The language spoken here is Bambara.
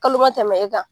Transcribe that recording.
Kalo ma tɛmɛ e kan